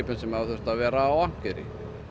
sem hafa þurft að vera á akkeri